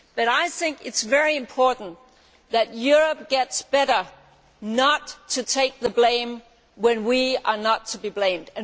I think it is very important that Europe gets better at not taking the blame when we are not to be blamed.